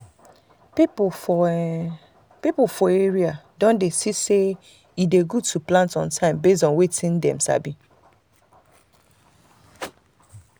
people for people for area don see say e dey good to plant on time based on wetin dem sabi.